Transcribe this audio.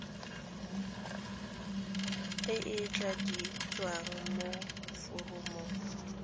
e e tladitsweng mo foromong